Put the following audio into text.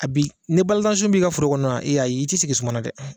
A bi n'i balazansun b'i ka foro kɔnɔ ayi i ti sigi suma na dɛ.